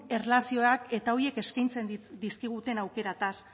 erlazioaz eta horiek eskaintzen dizkiguten aukerez